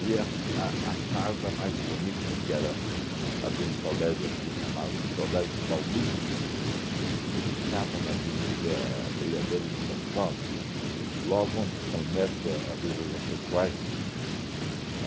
Vi a f a a farda mais bonita, que era a de um colégio aqui chamado Colégio Paulista, que ficava na Avenida Brigadeiro Luiz Antônio, logo onde começa a Rua Jaceguai.